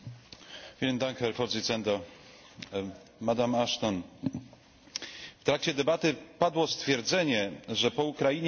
W trakcie debaty padło stwierdzenie, że po Ukrainie mamy podobną sytuację, psychologicznie podobną sytuację, jak po upadku muru berlińskiego.